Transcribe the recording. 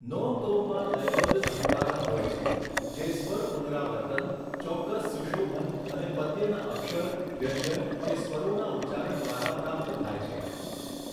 નોમ તોમમાં લયબદ્ધ ધબકારા હોય છે, જે સ્વર પુનરાવર્તન, ચોક્કસ સુશોભન અને પદ્યના અક્ષર, વ્યંજન, કે સ્વરોના ઉચ્ચારણ દ્વારા પ્રાપ્ત થાય છે.